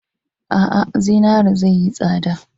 A'a, zinare zai yi tsada.